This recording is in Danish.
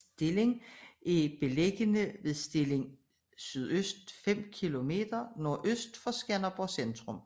Stilling er beliggende ved Stilling Sø 5 kilometer NØ for Skanderborg centrum